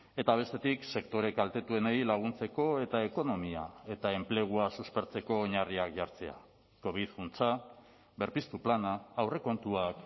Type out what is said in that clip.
eta bestetik sektore kaltetuenei laguntzeko eta ekonomia eta enplegua suspertzeko oinarriak jartzea covid funtsa berpiztu plana aurrekontuak